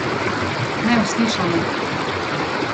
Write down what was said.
Neuslišana!